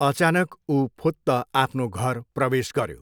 अचानक ऊ फुत्त आफ्नो घर प्रवेश गर्यो।